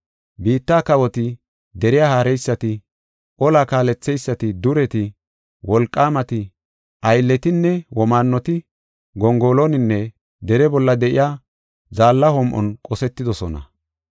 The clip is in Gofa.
Biitta kawoti, deriya haareysati, olla kaaletheysati, dureti, wolqaamati, aylletinne, womaannoti gongoloninne dere bolla de7iya zaalla hom7on qosetidosona.